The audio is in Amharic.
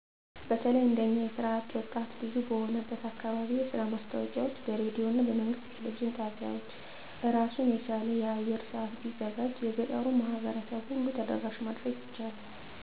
በተለይ እንደኛ የስራ አጥ ወጣት ብዙ በሆነበት አካባቢ የስራ ማስታወቂያወች በሬዲዮና በመንግስት የቴሌቪዥን ጣቢያወች አራሱን የቻለ የአየር ሰአት ቢዘጋጅ የገጠሩን ማህበረሰብ ሁሉ ተደራሽ ማድረግ ይቻላል።